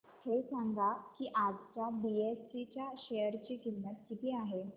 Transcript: हे सांगा की आज बीएसई च्या शेअर ची किंमत किती आहे